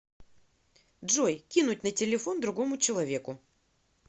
джой кинуть на телефон другому человеку